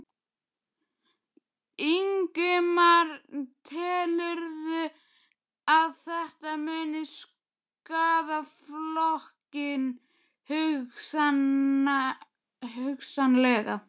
Ingimar: Telurðu að þetta muni skaða flokkinn, hugsanlega?